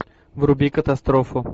вруби катастрофу